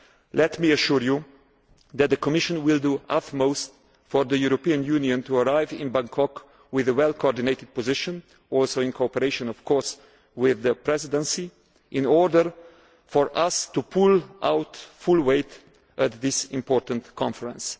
Let me assure you that the Commission will do its utmost for the European Union to arrive in Bangkok with a well coordinated position also in cooperation, of course, with the Presidency, in order for us to pull our full weight at this important conference.